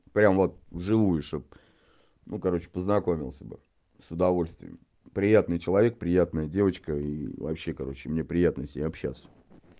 прямо вот вживую что бы ну короче познакомился бы с удовольствием приятный человек приятная девочка и вообще короче мне приятно с ней общаться